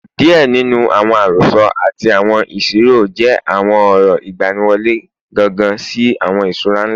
Diẹ ninu awọn arosọ ati awọn isiro jẹ awọn ọrọ igbaniwọle gangan si awọn iṣura nla